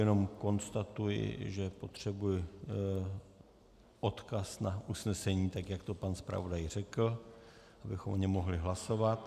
Jenom konstatuji, že potřebuji odkaz na usnesení, tak jak to pan zpravodaj řekl, abychom o něm mohli hlasovat.